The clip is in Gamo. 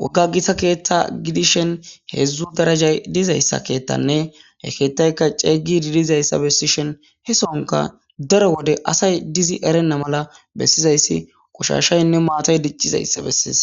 wogga gita keetta gidishen heedzdzu darajay dizayssa keettanne haykeettayka ceeygi diidizayssa bessishen he sonka daro wode asay dizi erenna mala bessizayssi qushashaynne maatay diccizayssa bessiis.